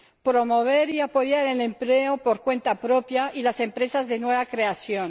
promover y apoyar el empleo por cuenta propia y las empresas de nueva creación